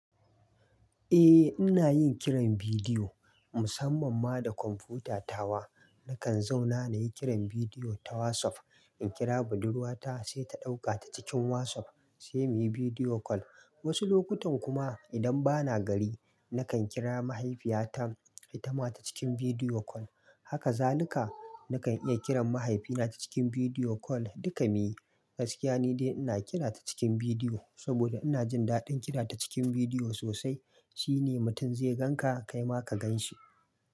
Eh, ina yin kiran bidiyo musamman ma da kwamfutata wa. Nakan zauna na yi kiran bidiyo ta WhatsApp. In kira budurwata sai ta ɗauka ta cikin WhatsApp sai muyi bidiyo kol. Wasu lokutan kuma idan bana gari nakan kira mahaifiyata ita ma ta cikin bidiyo kol. Haka zalika nakan iya kiran mahaifina ta cikin bidiyo kol duka muyi. Gaskiya ni dai ina kira ta cikin bidiyo saboda ina jin daɗin kira ta cikin bidiyo sosai. Shine mutum zai ganka kai ma ka gan shi.